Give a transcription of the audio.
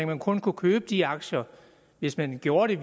man kun kunne købe de aktier hvis man gjorde det